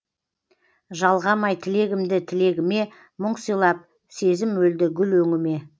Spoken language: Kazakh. жалғамай тілегімді тілегіме мұң сыйлап сезім өлді гүл өңіме